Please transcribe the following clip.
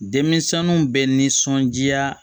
Denmisɛnninw bɛ nisɔndiya